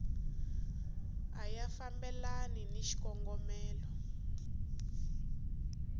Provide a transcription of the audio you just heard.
a ya fambelani ni xikongomelo